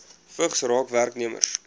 vigs raak werknemers